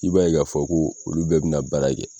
I b'a ye' ka fɔ ko olu bɛɛ bɛ na baara kɛ.